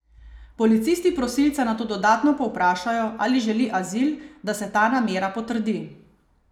Policisti prosilca nato dodatno povprašajo, ali želi azil, da se ta namera potrdi.